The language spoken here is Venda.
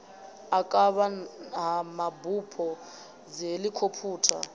u kavha ha mabupo dzihelikhophutha